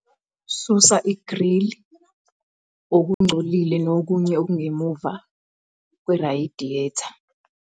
Susa igrili, okungcolile nokunye okungemuva kwerayidiyeta.